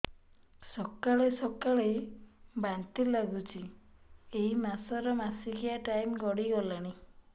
ସକାଳେ ସକାଳେ ବାନ୍ତି ଲାଗୁଚି ଏଇ ମାସ ର ମାସିକିଆ ଟାଇମ ଗଡ଼ି ଗଲାଣି